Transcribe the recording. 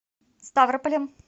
ставрополем